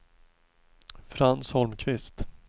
Frans Holmqvist